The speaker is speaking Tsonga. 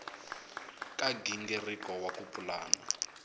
ka nghingiriko wa ku pulana